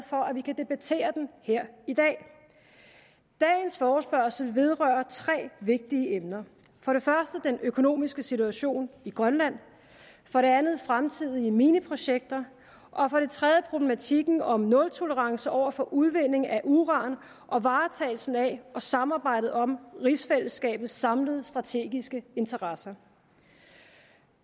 for at vi kan debattere den her i dag dagens forespørgsel vedrører tre vigtige emner for det første den økonomiske situation i grønland for det andet fremtidige mineprojekter og for det tredje problematikken om nultolerance over for udvinding af uran og varetagelsen af og samarbejdet om rigsfællesskabets samlede strategiske interesser